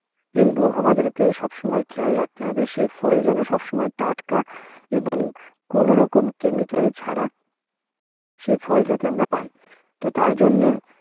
কিনবো, আমাদেরকে সবসময় খেয়াল রাখতে হবে সেই ফল যেন সবসময় টাটকা আহ এবং কোনরকম chemical ছাড়া সে ফল যাতে আমরা পাই। তো তার জন্যে